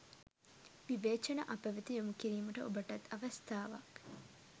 විවේචන අපවෙත යොමුකිරීමට ඔබටත් අවස්ථාවක්.